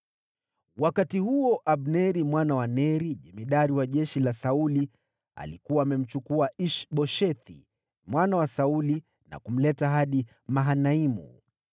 Wakati huo Abneri mwana wa Neri, jemadari wa jeshi la Sauli, alikuwa amemchukua Ish-Boshethi mwana wa Sauli na kumleta hadi Mahanaimu.